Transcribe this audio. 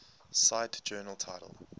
cite journal title